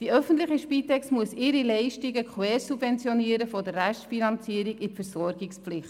Die öffentliche Spitex muss die Leistungen im Rahmen der Versorgungspflicht quersubventionieren.